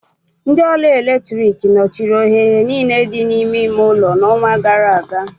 Ndị ọrụ eletrik nọchiri oghere niile dị n'ime ime ụlọ n'ọnwa gara aga